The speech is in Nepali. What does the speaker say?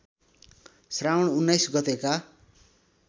श्रावण १९ गतेका